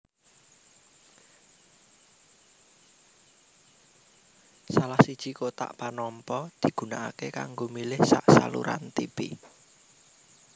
Salah siji kotak panampa digunakaké kanggo milih sak saluran tipi